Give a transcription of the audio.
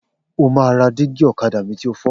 O máa ra dígí ọ̀kadà mi ti o fọ́!